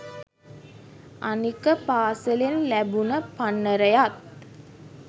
අනික පාසලෙන් ලැබුණ පන්නරයත්